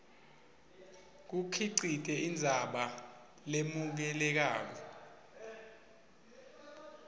kukhicite indzaba lemukelekako